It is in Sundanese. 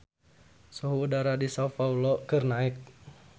Suhu udara di Sao Paolo keur naek